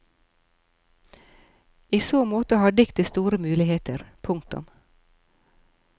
I så måte har diktet store muligheter. punktum